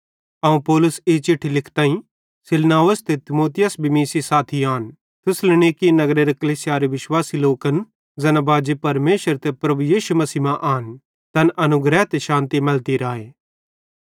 अवं पौलुस ई चिट्ठी लिखताईं सिलवानुस ते तीमुथियुस भी मीं सेइं साथी आन थिस्सलुनीकि नगरेरे कलीसियारे विश्वासी लोकन ज़ैना बाजी परमेशर ते प्रभु यीशु मसीह मां आन तैन अनुग्रह ते शान्ति मैलती राए